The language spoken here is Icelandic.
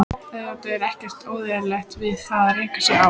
Auðvitað er ekkert óeðlilegt við það að reka sig á.